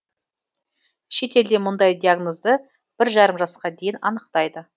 шетелде мұндай диагнозды бір жарым жасқа дейін анықтайды